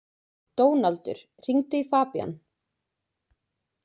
Dónaldur, hringdu í Fabían.